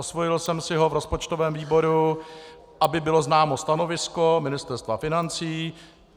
Osvojil jsem si ho v rozpočtovém výboru, aby bylo známo stanovisko Ministerstva financí.